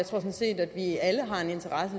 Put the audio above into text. sådan set at vi alle har en interesse